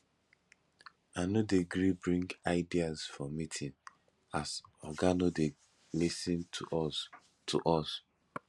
i no dey gree bring ideas for meeting as oga no dey lis ten to us to us